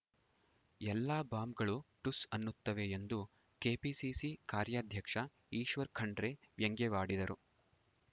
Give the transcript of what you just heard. ಎಲ್ಲ ಬಾಂಬ್‌ಗಳು ಠುಸ್‌ ಅನ್ನುತ್ತವೆ ಎಂದು ಕೆಪಿಸಿಸಿ ಕಾರ್ಯಾಧ್ಯಕ್ಷ ಈಶ್ವರ ಖಂಡ್ರೆ ವ್ಯಂಗ್ಯವಾಡಿದರು